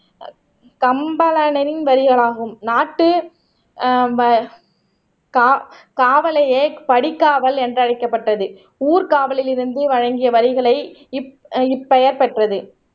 கம்பளனின் வரிகளாகும் நாட்டு ஆஹ் வ கா காவலையை படிக்காவல் என்று அழைக்கப்பட்டது ஊர்க்காவலில் இருந்து வழங்கிய வரிகளை இப் இப்பெயர் பெற்றது